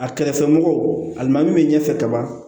A kɛrɛfɛmɔgɔw alimamu min ɲɛfɛ kaban